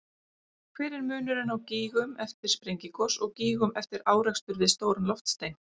Hver er munurinn á gígum eftir sprengigos og gígum eftir árekstur við stóran loftstein?